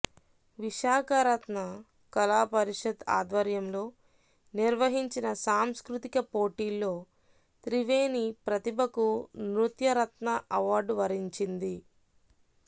విశాఖరత్న కళాపరిషత్ ఆధ్వర్యంలో నిర్వహించిన సాంస్కృతిక పోటీల్లో త్రివేణి ప్రతిభకు నృత్యరత్న అవార్డు వరించింది